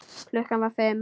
Klukkan var fimm.